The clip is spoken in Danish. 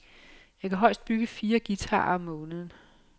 Jeg kan højst bygge fire guitarer om måneden.